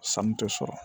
Sanu tɛ sɔrɔ